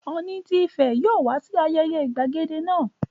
Ọ̀ọ̀ni tí Ifẹ̀ yóò wá sí ayẹyẹ Ìgbadé náà